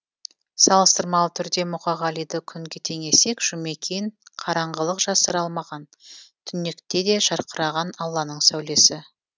салыстырмалы түрде мұқағалиды күнге теңесек жұмекен қараңғылық жасыра алмаған түнекте де жарқыраған алланың сәулесі